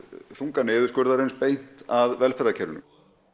þunga niðurskurðarins beint að velferðarkerfinu